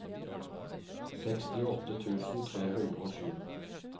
sekstiåtte tusen tre hundre og sju